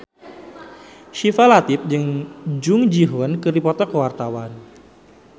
Syifa Latief jeung Jung Ji Hoon keur dipoto ku wartawan